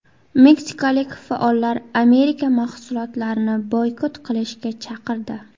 Meksikalik faollar Amerika mahsulotlarini boykot qilishga chaqirdi.